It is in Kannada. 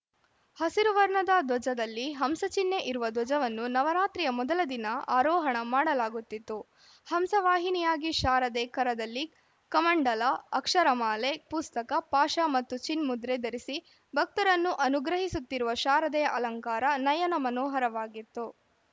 ಹಸಿರು ವರ್ಣದ ಧ್ವಜದಲ್ಲಿ ಹಂಸಚಿಹ್ನೆ ಇರುವ ಧ್ವಜವನ್ನು ನವರಾತ್ರಿಯ ಮೊದಲ ದಿನ ಆರೋಹಣ ಮಾಡಲಾಗುತ್ತಿತ್ತು ಹಂಸವಾಹಿನಿಯಾಗಿ ಶಾರದೆ ಕರದಲ್ಲಿ ಕಮಂಡಲ ಅಕ್ಷರಮಾಲೆ ಪುಸ್ತಕ ಪಾಶ ಮತ್ತು ಚಿನ್ಮುದ್ರೆ ಧರಿಸಿ ಭಕ್ತರನ್ನು ಅನುಗ್ರಹಿಸುತ್ತಿರುವ ಶಾರದೆಯ ಅಲಂಕಾರ ನಯನ ಮನೋಹರವಾಗಿತ್ತು